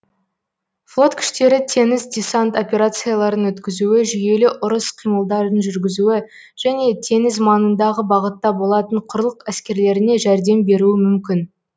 флот күштері теңіз десант операцияларын өткізуі жүйелі ұрыс қимылдарын жүргізуі және теңіз маңындағы бағытта болатын құрлық әскерлеріне жәрдем беруі мүмкін